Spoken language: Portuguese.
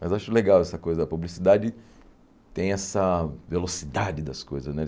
Mas acho legal essa coisa, a publicidade tem essa velocidade das coisas, né?